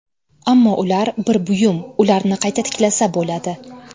Ammo ular bir buyum, ularni qayta tiklasa bo‘ladi!